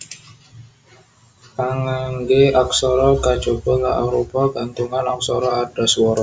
Pangangge aksara kajaba La arupa gantungan aksara ardhaswara